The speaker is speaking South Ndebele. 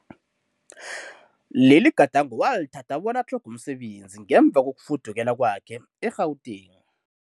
Leligadango walithatha bona atlhoge umsebenzi ngemva kokufudukela kwakhe e-Gauteng.